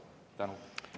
Aitäh!